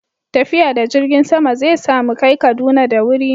tafiya da jirgin sama zai sa mu kai Kaduna da wuri